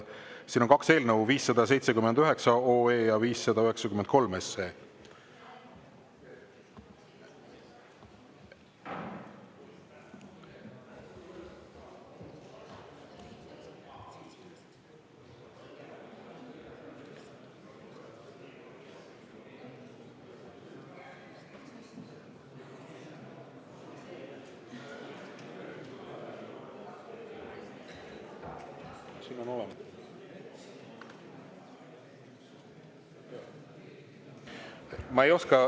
Siin on kaks eelnõu: 579 OE ja 593 SE.